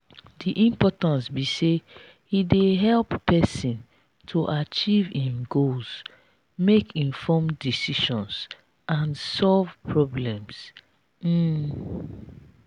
di importance be say e dey help pesin to achieve im goals make informed decisions and solve problems. um